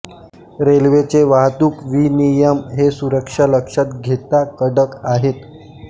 रेल्वेचे वाहतूक विनियम हे सुरक्षा लक्षात घेता कडक आहेत